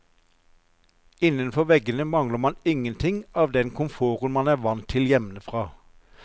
Innenfor veggene mangler man ingenting av den komforten man er vant til hjemmefra.